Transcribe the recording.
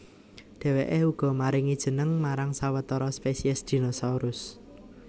Dhèwèké uga maringi jeneng marang sawetara spesies dinosaurus